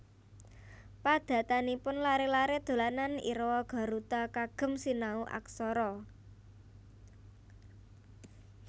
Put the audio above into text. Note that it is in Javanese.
Padatanipun lare lare dolanan iroha garuta kagem sinau aksara